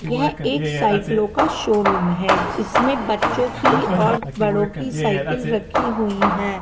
यह एक साइकिलों का शोरूम है जिसमें बच्चों की और बड़ों की साइकिल रखी हुई है।